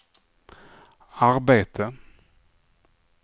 arbete